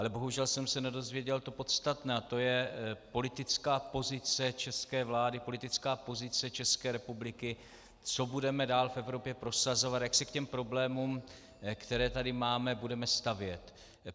Ale bohužel jsem se nedozvěděl to podstatné a to je politická pozice české vlády, politická pozice České republiky, co budeme dál v Evropě prosazovat, jak se k těm problémům, které tady máme, budeme stavět.